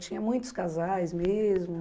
Tinha muitos casais mesmo?